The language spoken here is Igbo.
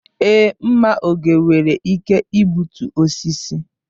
Èé, mma oge nwere ike igbutu osisi.